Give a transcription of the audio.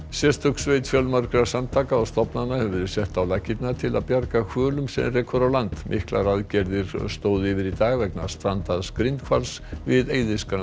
sérstök sveit fjölmargra samtaka og stofnana hefur verið sett á laggirnar til að bjarga hvölum sem rekur á land miklar aðgerðir stóðu yfir í dag vegna strandaðs grindhvals við